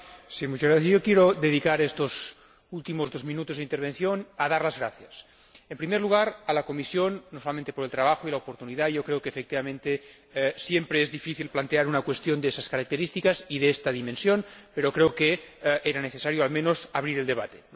ponente. Señor Presidente, quiero dedicar estos últimos dos minutos de intervención a dar las gracias. En primer lugar, a la Comisión, no solamente por el trabajo y la oportunidad yo creo que, efectivamente, siempre es difícil plantear una cuestión de estas características y de esta dimensión, pero creo que era necesario, al menos, abrir el debate.